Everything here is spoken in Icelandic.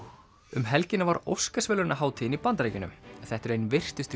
um helgina var Óskarsverðlaunahátíðin í Bandaríkjunum þetta eru ein virtustu